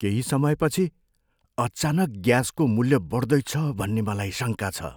केही समयपछि अचानक ग्यासको मूल्य बड्दैछ भन्ने मलाई शङ्का छ।